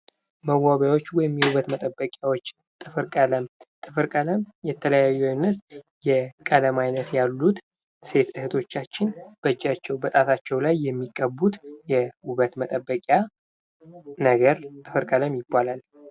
መዋቢያዎች ወይም የውበት መጠበቂያዎች ጥፍር ቀለም የተለያዩ አይነት የቀለም ዓይነት ያሉት ሴት እህቶቻችን በእጃቸው በጣቶቻቸው ላይ የሚቀቡት ነገር ጥፍር ቀለም ይባላል።